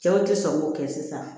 Cɛw tɛ sɔn k'o kɛ sisan